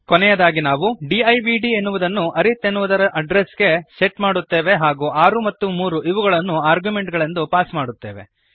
ಕೊನೆಯದಾಗಿ ನಾವು ಡಿವ್ಡ್ ಎನ್ನುವುದನ್ನು ಅರಿತ್ ಎನ್ನುವುದರ ಅಡ್ರೆಸ್ ಗೆ ಸೆಟ್ ಮಾಡುತ್ತೇವೆ ಹಾಗೂ 6 ಮತ್ತು 3 ಇವುಗಳನ್ನು ಆರ್ಗ್ಯುಮೆಂಟುಗಳೆಂದು ಪಾಸ್ ಮಾಡುತ್ತೇವೆ